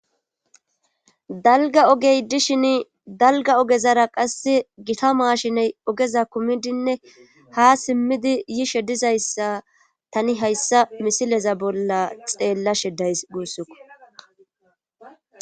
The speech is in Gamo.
dalga ogey dishin dalga ogezara qasse gita maashiney ogeza kumidinne ha simmidi yishe dizayssa tani hayssa misileza bolla xeella shedays guussikko